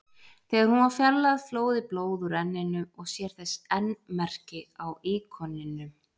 Þegar hún var fjarlægð flóði blóð úr enninu og sér þess enn merki á íkoninum.